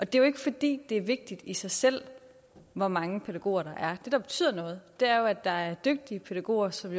det er jo ikke fordi det er vigtigt i sig selv hvor mange pædagoger der er det der betyder noget er jo at der er dygtige pædagoger som